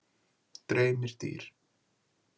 Dreymir dýr?